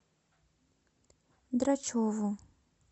драчеву